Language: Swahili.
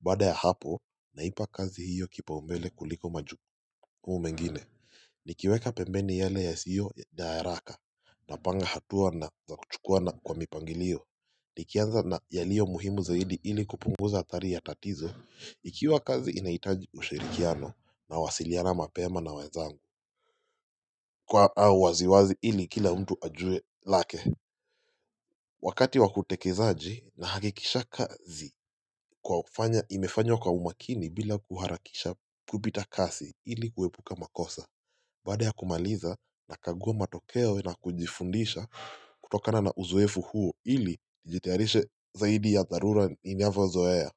Baada ya hapo naipa kazi hiyo kipaumbele kuliko majukumu mengine Nikiweka pembeni yale yasio ya haraka napanga hatua na za kuchukua na kwa mipangilio Nikianza na yalio muhimu zaidi ili kupunguza hatari ya tatizo Ikiwa kazi inahitaji ushirikiano nawasiliana mapema na wazangu au waziwazi ili kila mtu ajue lake Wakati wakutekezaji nahakikisha kazi kuwa imefanywa kwa umakini bila kuharakisha kupita kazi ili kuepuka makosa Baada ya kumaliza nakaguwa matokeo na kujifundisha kutokana na uzoefu huo ili nijitiarishe zaidi ya dharura inavyozoea.